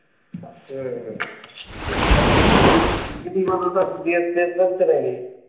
শেষ হচ্ছে নাকি?